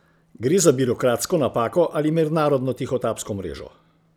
Gre za birokratsko napako ali mednarodno tihotapsko mrežo?